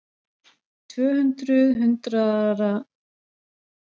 Tvö hundruð hundraða, sagði Ari.